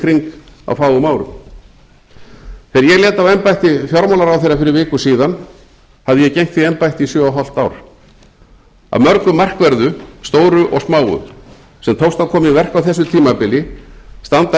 kring á fáum árum þegar ég lét af embætti fjármálaráðherra fyrir viku síðan hafði ég gegnt því embætti í sjö og hálft ár af mörgu markverðu stóru og smáu sem tókst að koma í verk á þessu tímabili standa